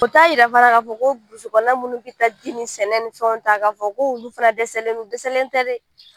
O t'a yira fana k'a fɔ ko burusi kɔnɔ minnu bɛ taa ji ni sɛnɛ ni fɛ ta k'a fɔ ko olu fana dɛsɛlen no, o dɛsɛlen tɛ dɛ